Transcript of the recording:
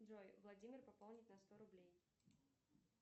джой владимир пополнить на сто рублей